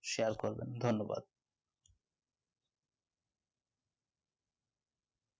share করবেন ধন্যবাদ